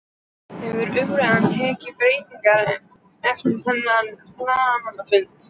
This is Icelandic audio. Hefur umræðan tekið breytingum eftir þennan blaðamannafund?